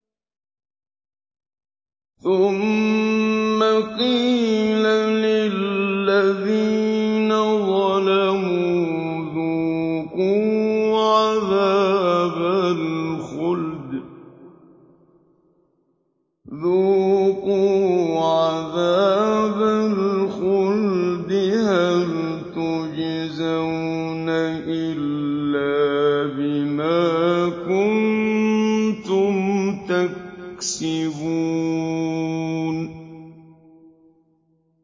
ثُمَّ قِيلَ لِلَّذِينَ ظَلَمُوا ذُوقُوا عَذَابَ الْخُلْدِ هَلْ تُجْزَوْنَ إِلَّا بِمَا كُنتُمْ تَكْسِبُونَ